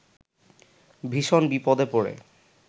ভীষণ বিপদে পড়ে